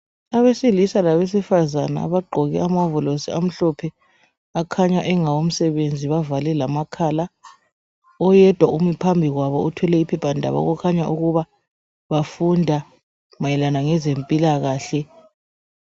Abesilisa labesifazana abagqoke amawovolosi amhlophe akhanya engawomsebenzi, bavale lamakhala. Oyedwa umi phambi kwabo uthwele iphephandaba okukhanya ukubana bafunda mayelana lezempilakahle.